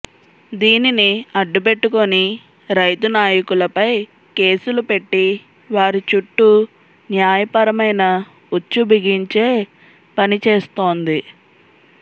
దీనిని అడ్డుపెట్టుకొని రైతు నాయకులపై కేసులు పెట్టి వారి చుట్టూ న్యాయపరమైన ఉచ్చు బిగించే పనిచేస్తోంది